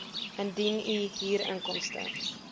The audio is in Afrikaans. indien u huurinkomste